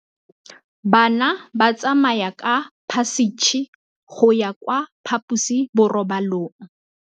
Bana ba tsamaya ka phašitshe go ya kwa phaposiborobalong.